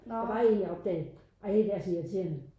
Der var én jeg opdagede ej det er så irriterende